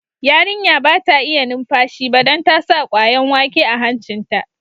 Yarinya ba ta iya numfashi ba dan ta sa kwayan wake a hancin ta.